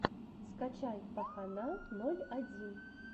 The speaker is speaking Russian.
скачай пахана ноль один